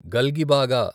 గల్గిబాగా